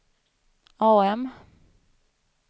AM